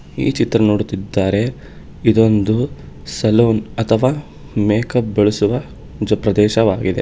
ಈ ಚಿತ್ರ ನೋಡುತ್ತಿದ್ದಾರೆ ಇದೊಂದು ಸಲೂನ್ ಅಥವಾ ಮೇಕಪ್ ಬಳಸುವ ಜ- ಪ್ರದೇಶವಾಗಿದೆ.